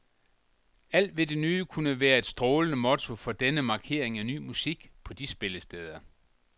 Alt ved det nye kunne være et strålende motto for denne markering af ny musik på de spillesteder.